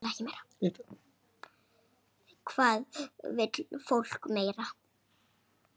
Hvað vill fólk meira?